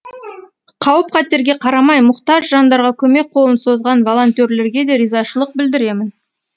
қауіп қатерге қарамай мұқтаж жандарға көмек қолын созған волонтерлерге де ризашылық білдіремін